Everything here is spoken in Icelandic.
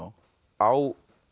á